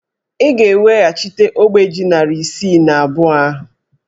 Ị ga-eweghachite ogbe ji narị isii na abụọ ahụ!